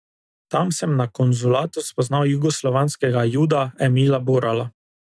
Tam sem na konzulatu spoznal jugoslovanskega juda Emila Borala.